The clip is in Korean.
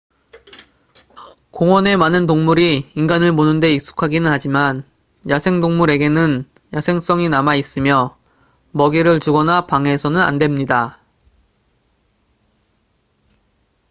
공원의 많은 동물이 인간을 보는데 익숙하기는 하지만 야생동물에게는 야생성이 남아있으며 먹이를 주거나 방해해서는 안 됩니다